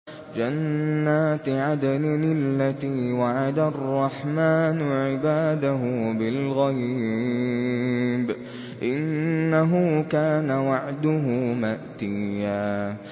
جَنَّاتِ عَدْنٍ الَّتِي وَعَدَ الرَّحْمَٰنُ عِبَادَهُ بِالْغَيْبِ ۚ إِنَّهُ كَانَ وَعْدُهُ مَأْتِيًّا